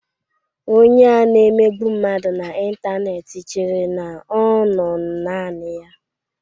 Onye a na-emegbu mmadụ na ịntanetị chere na ọ nọ naanị ya.